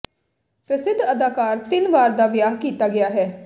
ਪ੍ਰਸਿੱਧ ਅਦਾਕਾਰ ਤਿੰਨ ਵਾਰ ਦਾ ਵਿਆਹ ਕੀਤਾ ਗਿਆ ਹੈ